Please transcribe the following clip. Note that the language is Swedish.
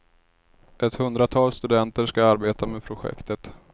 Ett hundratal studenter ska arbeta med projektet.